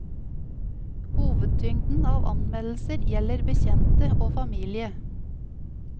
Hovedtyngden av anmeldelser gjelder bekjente og familie.